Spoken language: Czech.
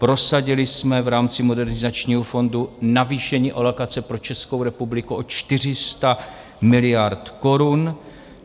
Prosadili jsme v rámci Modernizačního fondu navýšení alokace pro Českou republiku o 400 miliard korun.